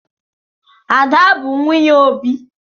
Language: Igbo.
Ada bụ nwunye Obi.